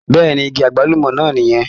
Bẹ́ẹ̀ni, igi agbalumọ náà nì yẹn.